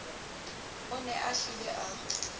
o ne a hlile a